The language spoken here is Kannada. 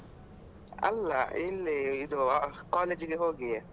ಅಲ್ಲ ಇಲ್ಲಿ ಇದು college ಇಗೆ ಹೋಗಿಯೆ.